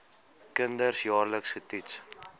kinders jaarliks getoets